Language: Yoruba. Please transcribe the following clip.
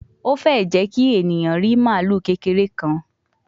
O fee jẹ ki eniyan ri malu kekere kan